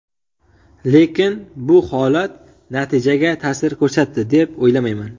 Lekin bu holat natijaga ta’sir ko‘rsatdi, deb o‘ylamayman.